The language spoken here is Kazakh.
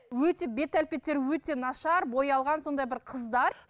өте бет әлпеттері өте нашар боялған сондай бір қыздар